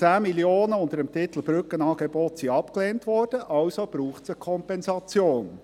Die 10 Mio. Franken unter dem Titel «Brückenangebote» wurden abgelehnt, also braucht es eine Kompensation.